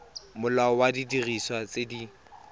molao wa didiriswa tse di